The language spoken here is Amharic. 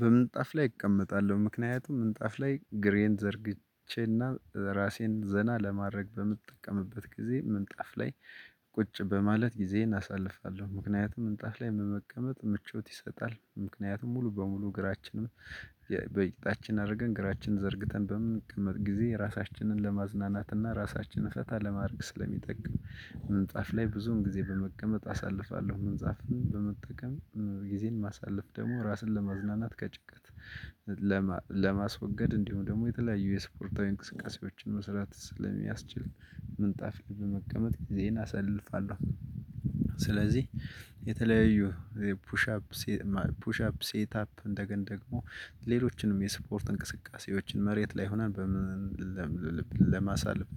በምንጣፍ ላይ እቀመጣለሁ ምክንያቱም ምንጣፍ ላይ እግሬን ዘርግቼና ራሴን ዘና ለማድረግ በምትጠቀምበት ጊዜ ምንጣፍ ላይ ቁጭ በማለት ጊዜዬን አሳልፋለሁ። ምክንያቱም ምንጣፍ ላይ በመቀመጥ ምቾት ይሰጣል ምክንያቱም ሙሉ በሙሉ እግራችንን በቂጣችን አድርገን እግራችንን ዘርግተን በምንቀመጥ ጊዜ ራሳችንን ለማዝናናትና ራሳችንን ፈታ ለማድረግ ስለሚጠቅም ምንጣፍ ላይ ብዙውን ጊዜ በመቀመጥ አሳልፋለሁ። ምንጣፍም በመጠቀም ጊዜን ማሳለፍ ደግሞ ራስን ለመዝናናት ከጭንቀት ለማስወገድ እንዲሁም ደግሞ የተለያዩ የስፖርታዊ እንቅስቃሴዎችን መስራት ስለሚያስችል ምንጣፍ ላይ በመቀመጥ ጊዜየን አሳልፋለሁ። ስለዚህ የተለያዩ ፑሽ አፕ አፕ ሴት አፕ እንደገና ደግሞ ሌሎችንም የስፖርት እንቅስቃሴዎችን መሬት ላይ ሆነን ለማሳለፍ